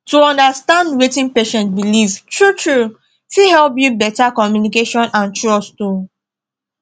to understand wetin patient believe truetrue fit help build better communication and trust um